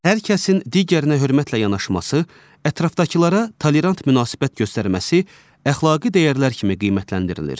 Hər kəsin digərinə hörmətlə yanaşması, ətrafdakılara tolerant münasibət göstərməsi əxlaqi dəyərlər kimi qiymətləndirilir.